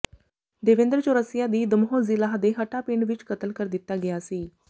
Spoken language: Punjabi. ਦੇਵੇਂਦਰ ਚੌਰਸੀਆ ਦੀ ਦਮੋਹ ਜ਼ਿਲ੍ਹਾ ਦੇ ਹਟਾ ਪਿੰਡ ਵਿਚ ਕਤਲ ਕਰ ਦਿੱਤਾ ਗਿਆ ਸੀ